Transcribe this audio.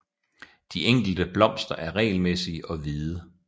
De enkelte blomster er regelmæssige og hvide